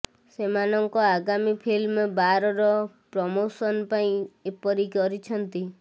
ସେମାନଙ୍କ ଆଗାମୀ ଫିଲ୍ମ ବାର ର ପ୍ରମୋସନ ପାଇଁ ଏପରି କରିଛନ୍ତି